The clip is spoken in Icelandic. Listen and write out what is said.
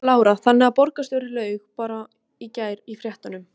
Lára: Þannig að borgarstjóri laug bara í gær í fréttum?